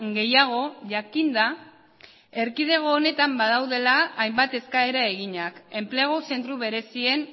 gehiago jakinda erkidego honetan badaudela hainbat eskaera eginak enplegu zentro berezien